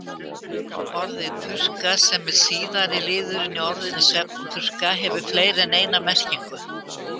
Orðið purka, sem er síðari liðurinn í orðinu svefnpurka, hefur fleiri en eina merkingu.